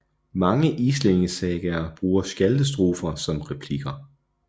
Mange islændingesagaer bruger skjaldestrofer som replikker